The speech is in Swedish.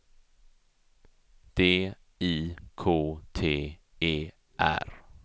D I K T E R